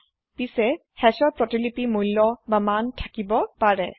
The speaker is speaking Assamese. অসাধাৰণ পিছে Hashৰ প্ৰতিলিপি মূল্য মান থাকিব পাৰে